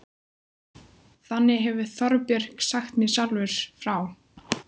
Þannig hefur Þorbjörn sagt mér sjálfur frá.